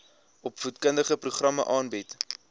opvoedkundige programme aanbied